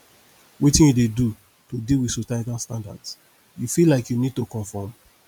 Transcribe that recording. wetin you dey do to deal with societal standards you feel like you need to comform